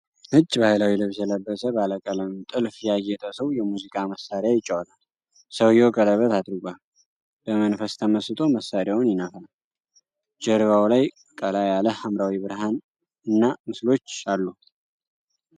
ነጭ ባህላዊ ልብስ የለበሰ፣ ባለቀለም ጥልፍ ያጌጠ ሰው የሙዚቃ መሳሪያ ይጫወታል። ሰውየው ቀለበት አድርጓል፤ በመንፈስ ተመስጦ መሳሪያውን ይነፋል። ጀርባው ላይ ቀላ ያለ ሐምራዊ ብርሃን እና ምስሎች አሉ።